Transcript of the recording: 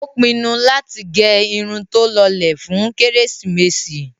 Ó pinnu láti gẹ irun tó lọlẹ̀ fún kérésìmesì.